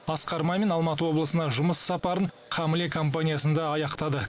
асқар мамин алматы облысына жұмыс сапарын хамле компаниясында аяқтады